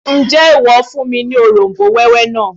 Ǹjẹ́ ìwọ fún mi ní òróm̀bó wẹ́wẹ́ náà?